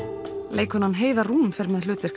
leikkonan Heiða Rún fer með hlutverk